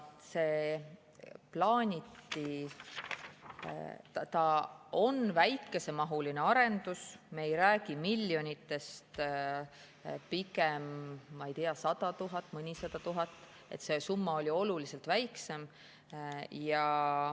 See on väikesemahuline arendus, me ei räägi miljonitest, see summa on oluliselt väiksem, pigem, ma ei tea, sada tuhat, mõnisada tuhat.